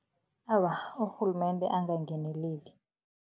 Awa, urhulumende angangeneleli.